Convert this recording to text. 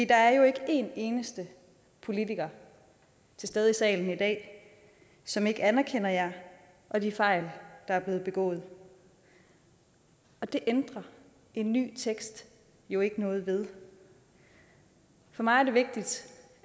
der er jo ikke en eneste politiker til stede i salen i dag som ikke anerkender jer og de fejl der er blevet begået og det ændrer en ny tekst jo ikke noget ved for mig er det vigtigt